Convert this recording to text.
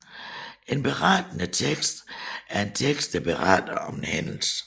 En Berettende tekst er en tekst der beretter om en hændelse